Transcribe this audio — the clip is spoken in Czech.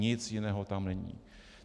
Nic jiného tam není.